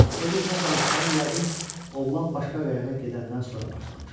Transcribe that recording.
Öz-özünə danışmağa yəqin oğlan başqa qayıqa gedəndən sonra başlamışdı.